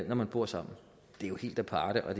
man bor sammen det er jo helt aparte og